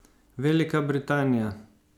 Velika Britanija.